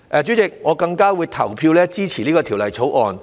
主席，我更加會投票支持《條例草案》。